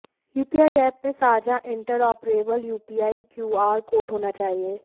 UPI app में साझा interoperable UPI QR code होना चाहिए